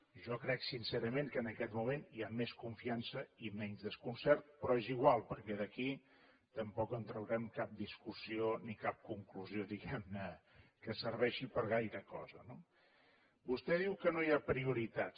jo crec sincerament que en aquest moment hi ha més confiança i menys desconcert però és igual perquè d’aquí tampoc en traurem cap discussió ni cap conclusió diguem ne que serveixi per gaire cosa no vostè diu que no hi ha prioritats